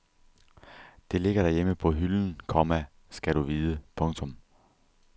Det ligger derhjemme på hylden, komma skal du vide. punktum